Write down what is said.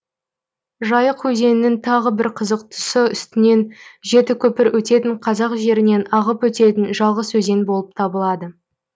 жайық өзенінің тағы бір қызық тұсы үстінен жеті көпір өтетін қазақ жерінен ағып өтетін жалғыз өзен болып табылады